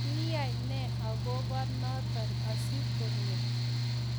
kiyai nee agoba noto asigongeet